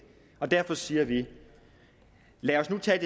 derfor siger vi lad os nu tage